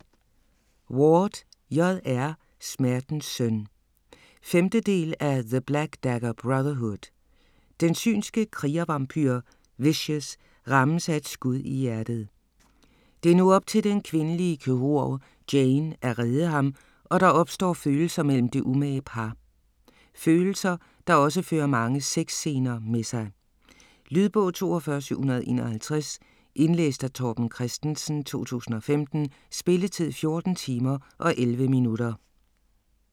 Ward, J. R.: Smertens søn 5. del af The black dagger brotherhood. Den synske krigervampyr Vishous rammes af et skud i hjertet. Det er nu op til den kvindelige kirurg Jane at redde ham og der opstår følelser mellem det umage par - følelser, der også fører mange sexscener med sig. Lydbog 42751 Indlæst af Torben Christensen, 2015. Spilletid: 14 timer, 11 minutter.